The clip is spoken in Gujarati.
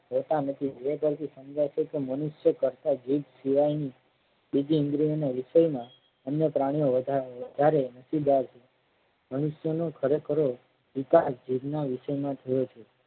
હોતા નથી એ પરથી સમજાય છે કે મનુષ્ય કરતા જીભ સિવાય ની બીજી ઇન્દ્રિઓના વિષયમાં અન્ય પ્રાણીઓ વધારે નશીબદાર છે મનુષ્યનો ખરેખરો વિકાશ જીભના વિષયમાં થયો છે.